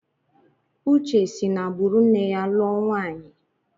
Uche si n'agbụrụ nne ya lụọ nwaanyi.